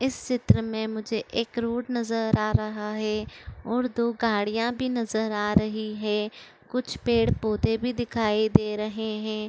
इस सित्र मे मुझे एक रोड नजर आ रहा है और दो गाड़िया भी नजर आ रही है। कुछ पेड़ पौधे भी दिखाई दे रहे है।